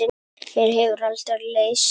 Mér hefur aldrei leiðst.